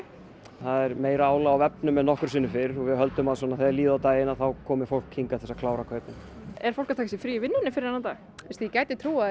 það er meira álag á vefnum en nokkru sinni fyrr og við höldum að þegar líður á daginn komi fólk hingað til að klára kaupin er fólk að taka sér frí í vinnunni fyrir þennan dag veistu ég gæti trúað því